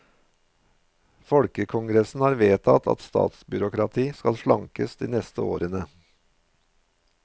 Folkekongressen har vedtatt at statsbyråkratiet skal slankes de neste årene.